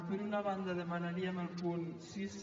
per una banda demana·ríem el punt sis